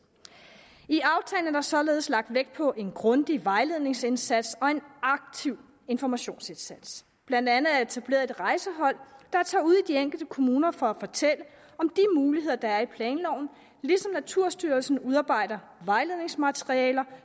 i aftalen er der således lagt vægt på en grundig vejledningsindsats og en aktiv informationsindsats der blandt andet etableret et rejsehold der tager ud i de enkelte kommuner for at fortælle om de muligheder der er i planloven ligesom naturstyrelsen udarbejder vejledningsmateriale